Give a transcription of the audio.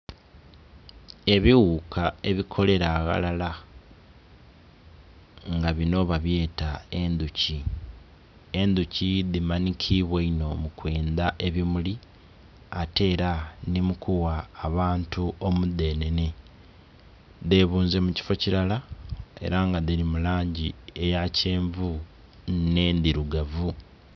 Ebighuka ebikolera aghalala nga binho babyeta endhuki, endhuki dhimanhikibwa inho mukwendha ebimuli ate era nhi mukugha abantu omudhenhenhe dhebunze mukifo kilala era nga dhili mulangi eya kyenvu nhe ndhilugavu.